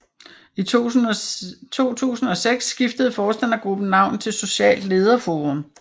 I 2006 skiftede forstandergruppen navn til Socialt Lederforum